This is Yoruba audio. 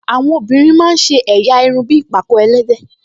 Àwọn obìnrin máa ń ṣe ẹ̀yà irun bí ìpàkọ́ ẹlẹ́dẹ̀